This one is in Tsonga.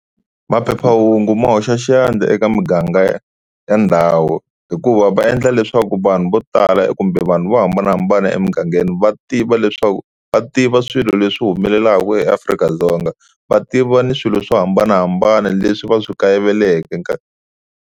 Maphephahungu ma hoxa xandla eka muganga ya ndhawu hikuva va endla leswaku vanhu vo tala kumbe vanhu vo hambanahambana emugangeni va tiva leswaku, va tiva swilo leswi humelelaka eAfrika-Dzonga va tiva ni swilo swo hambanahambana leswi va swi kayiveleke.